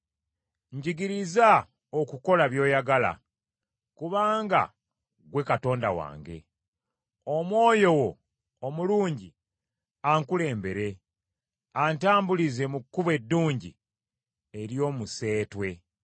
Njigiriza okukola by’oyagala, kubanga ggwe Katonda wange! Omwoyo wo omulungi ankulembere, antambulize mu kkubo eddungi ery’omuseetwe.